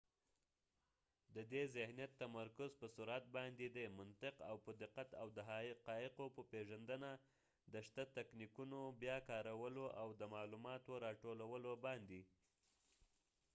ددې ذهنیت تمرکز په سرعت باندي دي . منطق او په دقت ،او د حقایقو په پیژندنه ، د شته تکنیکونو بیا کارولو او د معلوماتو را ټولولو باندي